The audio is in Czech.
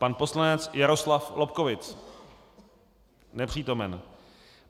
Pan poslanec Jaroslav Lobkowicz: Nepřítomen.